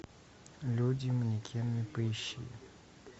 люди и манекены поищи